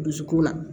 Dusukun na